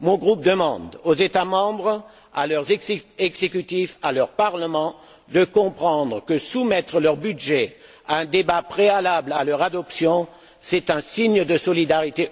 Mon groupe demande aux États membres, à leurs exécutifs, à leurs parlements, de comprendre que soumettre leur budget à un débat préalable à leur adoption, c'est un signe européen de solidarité